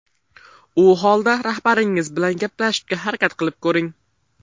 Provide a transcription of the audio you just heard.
U holda rahbaringiz bilan gaplashishga harakat qilib ko‘ring.